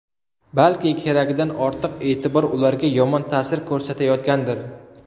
Balki keragidan ortiq e’tibor ularga yomon ta’sir ko‘rsatayotgandir.